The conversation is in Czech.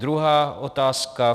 Druhá otázka.